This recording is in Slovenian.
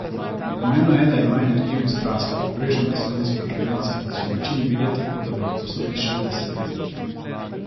Pomembno je, da ima energijo in strast, kar pogrešam pri slovenskih prvencih, ki so v večini videti, kot bi jih posneli šestdesetletniki.